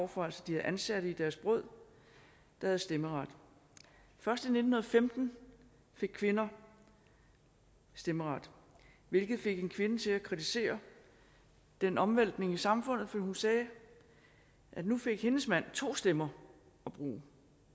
for altså de havde ansatte i deres brød der havde stemmeret først i nitten femten fik kvinder stemmeret hvilket fik en kvinde til at kritisere denne omvæltning af samfundet og hun sagde at nu fik hendes mand to stemmer at bruge